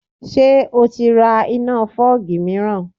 Ṣé o ti ra iná fọ́ọ̀gì míìràn?